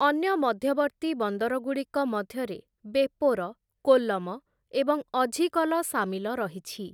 ଅନ୍ୟ ମଧ୍ୟବର୍ତ୍ତୀ ବନ୍ଦରଗୁଡ଼ିକ ମଧ୍ୟରେ ବେପୋର, କୋଲ୍ଲମ ଏବଂ ଅଝିକଲ ସାମିଲ ରହିଛି ।